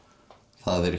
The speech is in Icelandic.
það er